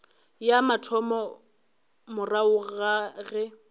ya mathomo morago ga ge